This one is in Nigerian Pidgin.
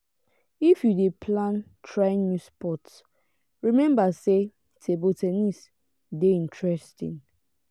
if you dey plan try new sport rememba sey table ten nis dey interesting.